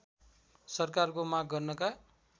सरकारको माग गर्नका